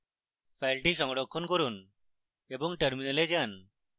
file সংরক্ষণ করুন এবং terminal যান